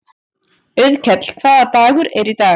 Auðkell, hvaða dagur er í dag?